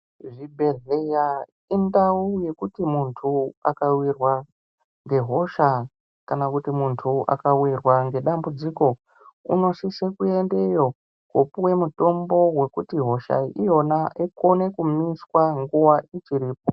Zvibhedhleya indau yekuti muntu akavirwa ngehosha kana kuti muntu akavirwa ngedambudziko. Unosise kuendeyo kopuye mutombo vokuti hosha iyona ikone kumiswa nguva ichiripo.